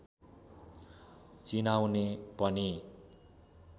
चिनाउने पनि